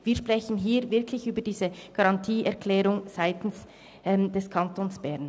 Wir sprechen hier wirklich über die Garantieerklärung seitens des Kantons Bern.